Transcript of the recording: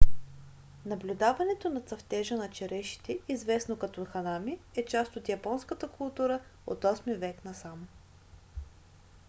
наблюдаването на цъфтежа на черешите известно като ханами е част от японската култура от 8-и век насам